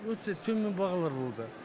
өте төмен бағалар болды